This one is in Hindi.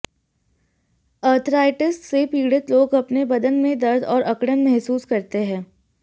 आर्थराइटिस से पीडि़त लोग अपने बदन में दर्द और अकडऩ महसूस करते हैं